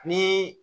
Ni